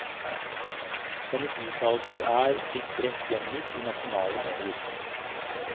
Hennes uttalelser er blitt bredt gjengitt i nasjonale medier.